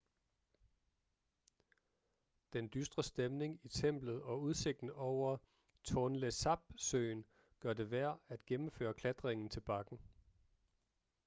den dystre stemning i templet og udsigten over tonle sap-søen gør det værd at gennemføre klatringen til bakken